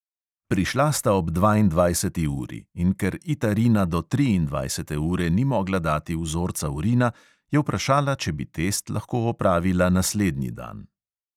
Prišla sta ob dvaindvajseti uri in ker ita rina do triindvajsete ure ni mogla dati vzorca urina, je vprašala, če bi test lahko opravila naslednji dan.